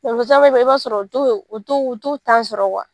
i b'a sɔrɔ u to u to sɔrɔ